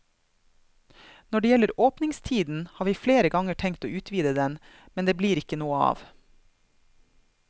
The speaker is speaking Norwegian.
Når det gjelder åpningstiden, har vi flere ganger tenkt å utvide den, men det er ikke blitt noe av.